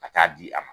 Ka taa di a ma